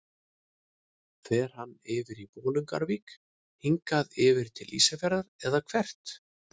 Fer hann yfir í Bolungarvík, hingað yfir til Ísafjarðar eða hvert?